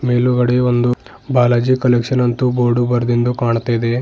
ಮೇಲುಗಡೆ ಒಂದು ಬಾಲಾಜಿ ಕಲೆಕ್ಷನ್ ಅಂತೂ ಬೋರ್ಡು ಬರದಿಂದು ಕಾಣುತ್ತಿದೆ.